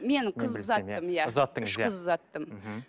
мен қыз ұзаттым иә ұзаттыңыз үш қыз ұзаттым мхм